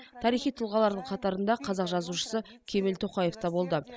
тарихи тұлғалардың қатарында қазақ жазушысы кемел тоқаев та болды